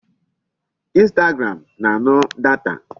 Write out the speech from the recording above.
Instagram na-anu data.